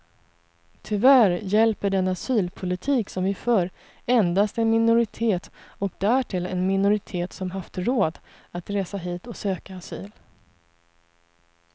Tyvärr hjälper den asylpolitik som vi för endast en minoritet, och därtill en minoritet som haft råd att resa hit och söka asyl.